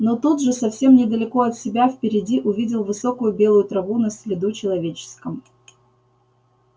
но тут же совсем недалеко от себя впереди увидел высокую белую траву на следу человеческом